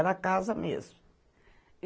Era casa mesmo.